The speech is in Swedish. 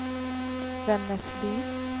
Vännäsby